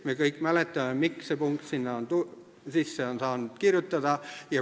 Me kõik mäletame, miks on see punkt sinna sisse kirjutatud.